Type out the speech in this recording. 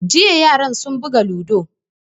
Jiya yaran sun buga ludo